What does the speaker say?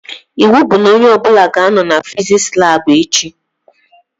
Iwu bụ na onye ọbụla ga-anọ na fiziks labụ echi!